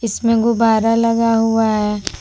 इसमें गुब्बारा लगा हुआ है।